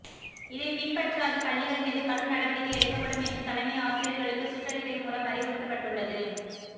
இதை பின்பற்றாத பள்ளிகள் மீது கடும் நடவடிக்கை எடுக்கப்படும் என்று தலைமை ஆசிரியர்களுக்கு சுற்றறிக்கை மூலம் அறிவுறுத்தப்பட்டுள்ளது